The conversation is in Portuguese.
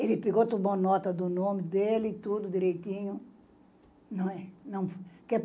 Ele pegou toda a nota do nome dele, tudo direitinho. Não é não